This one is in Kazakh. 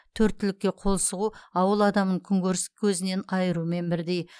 төрт түлікке қол сұғу ауыл адамын күнкөріс көзінен айырумен бірдей